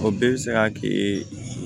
O bɛɛ bɛ se ka kɛ